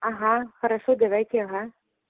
ага хорошо давайте ага